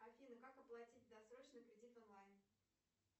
афина как оплатить досрочно кредит онлайн